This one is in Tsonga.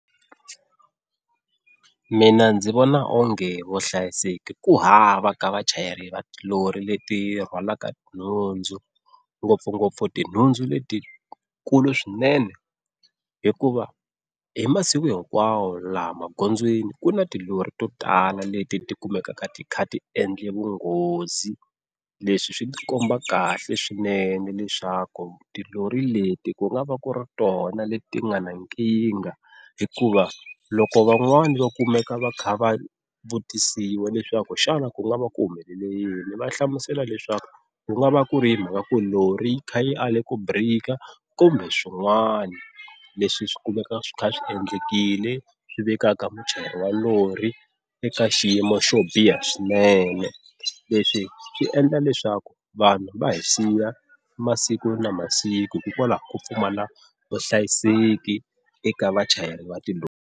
Mina ndzi vona onge vuhlayiseki ku hava ka vachayeri va tilori leti rhwalaka nhundzu ngopfungopfu tinhundzu letikulu swinene, hikuva hi masiku hinkwawo laha magondzweni ku na tilori to tala leti ti kumekaka ti kha ti endle vunghozi, leswi swi ti komba kahle swinene leswaku tilori leti ku nga va ku ri tona leti nga na nkingha, hikuva loko van'wani va kumeka va kha va vutisiwa leswaku xana ku nga va ku humelele yini va hlamusela leswaku ku nga va ku ri mhaka ku ri lori yi kha yi ale ku birika, kumbe swin'wana leswi swi kumeka swi kha swi endlekile swi vekaka muchayeri wa lori eka xiyimo xo biha swinene. Leswi swi endla leswaku vanhu va hi siya masiku na masiku hikwalaho ka ku pfumala vuhlayiseki eka vachayeri va tilori.